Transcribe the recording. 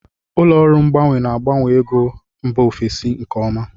Ụlọ ọrụ mgbanwe na-agbanwe ego mba ofesi nke ọma.